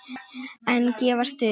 En gafstu upp?